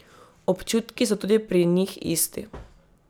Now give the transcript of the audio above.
Občutki so tudi pri njih isti.